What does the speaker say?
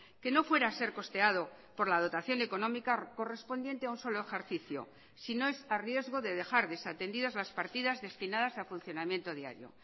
que no fuera a ser costeado por la dotación económica correspondiente a un solo ejercicio si no es a riesgo de dejar desatendidas las partidas destinadas a funcionamiento diario